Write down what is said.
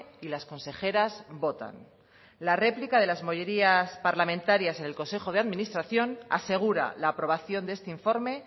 y las consejeras votan las réplicas de las mayorías parlamentarias en el consejo de administración asegura la aprobación de este informe